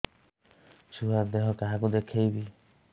ଛୁଆ ଦେହ କାହାକୁ ଦେଖେଇବି